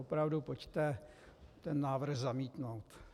Opravdu pojďte ten návrh zamítnout.